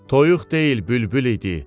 Toyuq deyil bülbül idi.